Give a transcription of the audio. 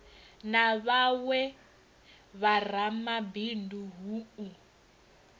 na vhawe vharamabindu hu u